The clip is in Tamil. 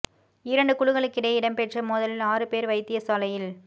இரண்டு குழுக்களுக்கிடையே இடம் பெற்ற மோதலில் ஆறு பேர் வைத்தியசாலையில்